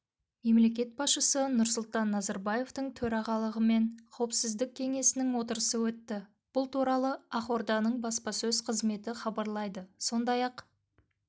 мемлекет басшысы нұрсұлтан назарбаевтың төрағалығымен қауіпсіздік кеңесінің отырысы өтті бұл туралы ақорданың баспасөз қызметі хабарлайды сондай-ақ